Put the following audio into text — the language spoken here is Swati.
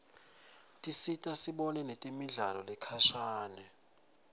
tisita sibone nemidlalo lekhashane